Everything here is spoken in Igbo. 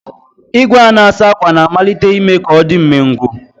Igwe a na-asa ákwà na-amalite ime ka ọ dị umengwụ